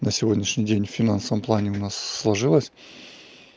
на сегодняшний день в финансовом плане у нас сложилось